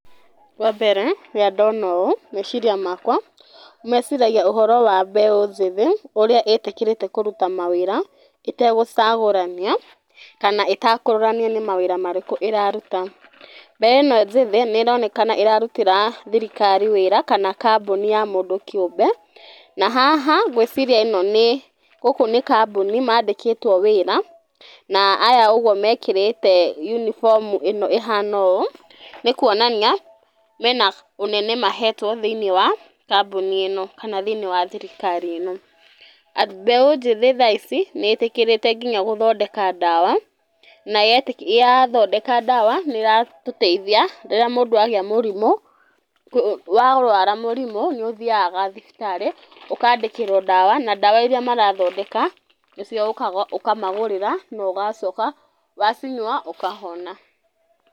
Wambere rĩrĩa ndona ũũ, meciria makwa meciragia ũhoro wa mbeũ njĩthĩ ũrĩa ĩtĩkĩrĩte kũruta mawĩra ĩtegũcagũrania kana ĩtekũronanianĩ mawĩra marĩkũ mararuta, mbeũ ĩno njĩthĩ nĩronekana nĩrarutĩra thirikari wĩra kana kambũni ya mũndũ kĩũmbe, na haha ngwĩciria ĩno gũkũ nĩ kambũni yandĩkĩtwe wĩra na aya ũguo mekĩrĩte yunifomu ĩhana ũũ nĩkwonania mena ũnene mahetwo thĩinĩ wa kambuni ĩno kana thĩinĩ wa thirikari ĩno, mbeũ njĩthĩ thaa ici nĩĩtĩkĩrĩte nginya gũthondeka ndawa na yathondeka ndawa nĩratũteithia rĩrĩa mũndũ wagĩa mũrimũ, warũara mũrimũ nĩũthiaga thibitarĩ ũkandĩkĩrwa ndawa na ndwa iria marathondeka nĩcio ũkaga ũkamagũrĩra na ũgacoka wacinyua ũkahoma.